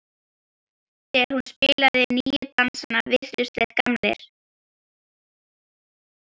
Þegar hún spilaði nýju dansana virtust þeir gamlir.